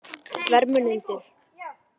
Vermundur